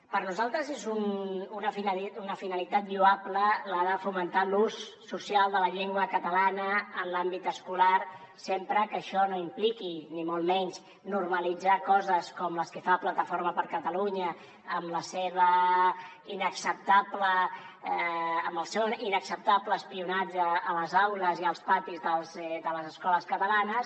per nosaltres és una finalitat lloable la de fomentar l’ús social de la llengua catalana en l’àmbit escolar sempre que això no impliqui ni molt menys normalitzar coses com les que fa plataforma per la llengua amb el seu inacceptable espionatge a les aules i als patis de les escoles catalanes